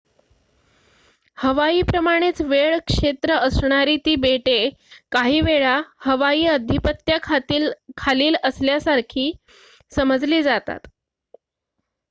"हवाई प्रमाणेच वेळ क्षेत्र असणारी ती बेटे काही वेळा हवाई आधिपत्या खालील" असल्यासारखी समजली जातात.